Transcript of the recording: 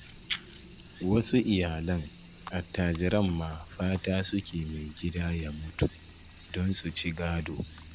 Wasu iyalan attajiran ma fata suke mai gida ya mutu, don su ci gado.